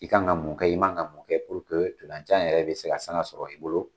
I kan ka mun kɛ, i ma kan ka mun kɛ purke jan yɛrɛ bɛ se ka sanga sɔrɔ i bolo.